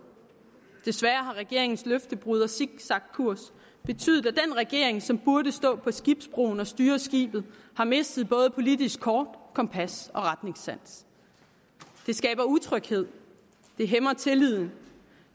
desværre har regeringens løftebrud og zigzagkurs betydet at den regering som burde stå på skibsbroen og styre skibet har mistet både politisk kort kompas og retningssans det skaber utryghed det hæmmer tilliden